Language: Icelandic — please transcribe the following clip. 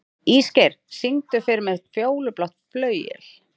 Ísgeir, syngdu fyrir mig „Fjólublátt flauel“.